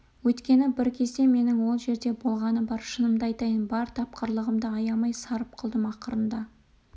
өйткені бір кезде менің ол жерде болғаным бар шынымды айтайын бар тапқырлығымды аямай сарып қылдым ақырында